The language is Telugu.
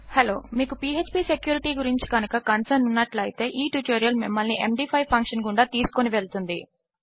మీకు phpసెక్యూరిటీ గురించి కనుక కన్సర్న్ ఉన్నట్లు అయితే ఈ ట్యుటోరియల్ మిమ్మల్ని ఎండీ5 ఫంక్షన్ గుండా తీసుకుని వెళుతుంది